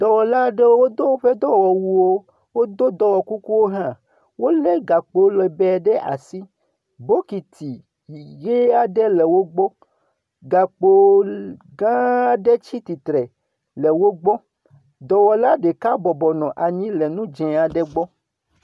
Dɔwɔla aɖewo do woƒe dɔwɔwuwo. Wodo dɔwɔkukuwo hã. Wolé gakpo lɛgbɛɛ ɖe asi. Bokiti ʋee aɖe le wogbɔ. Gakpo gãa aɖe tsi tsitre le wogbɔ. Dɔwɔla ɖeka bɔbɔ nɔ anyi le nu dzẽ aɖe gbɔ.